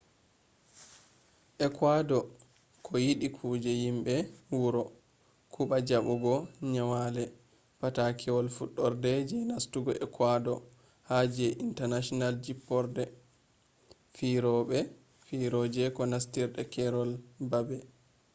ekuador do yiɗi kuje yimɓe wuro kuba jabugo nyonali patakewal fudorde je nastugo ecuador ha je international jipporde firooje ko nastirde keerol baabe